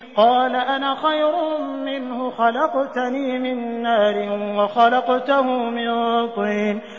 قَالَ أَنَا خَيْرٌ مِّنْهُ ۖ خَلَقْتَنِي مِن نَّارٍ وَخَلَقْتَهُ مِن طِينٍ